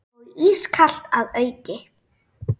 Og ískalt að auki.